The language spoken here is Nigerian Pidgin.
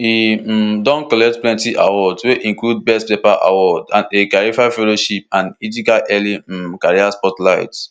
e um don collect plenty awards wey include best paper awards and a kavli fellowship an ijcai early um career spotlight